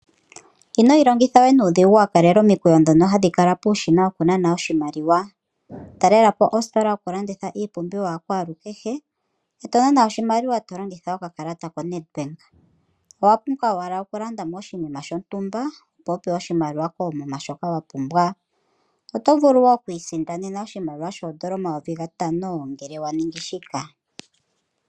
Ino ilongitha we nuudhigu wa kalela omikweyo ndhono hadhi kala puushina wokunana oshimaliwa. Talela po ositola yokulanditha iipumbiwa ya kwalukehe e to nana oshimaliwa to longitha okakalata koNedbank. Owa pumbwa owala okulanda mo oshinima shontumba, opo wu pewe oshimaliwa koomuma shoka wa pumbwa. Oto vulu wo oku isindanena oshimaliwa shoodola omayovi gatano ngele wa ningi shika.